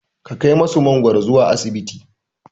Ka kai musu mangoro zuwa asibiti.